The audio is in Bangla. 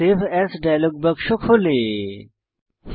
সেভ এএস ডায়লগ বাক্স প্রর্দশিত হয়